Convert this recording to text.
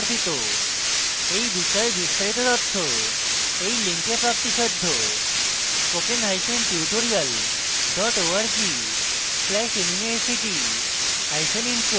এই বিষয়ে বিস্তারিত তথ্য এই লিঙ্কে প্রাপ্তিসাধ্য http:// spokentutorial org/nmeictintro